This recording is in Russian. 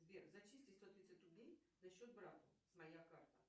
сбер зачисли сто тридцать рублей на счет брата с моя карта